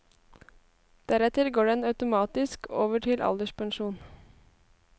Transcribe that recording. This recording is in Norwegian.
Deretter går den automatisk over til alderspensjon.